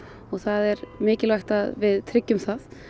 og það er mikilvægt að við tryggjum það